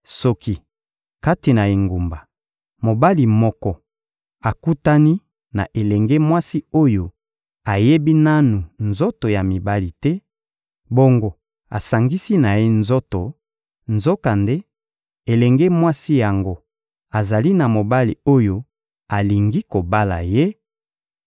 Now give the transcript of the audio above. Soki kati na engumba mobali moko akutani na elenge mwasi oyo ayebi nanu nzoto ya mibali te bongo asangisi na ye nzoto, nzokande elenge mwasi yango azali na mobali oyo alingi kobala ye,